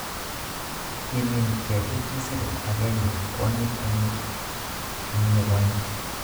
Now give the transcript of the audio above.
Kimiin ketik chesire agenge kwonyiik en kenyit nigonye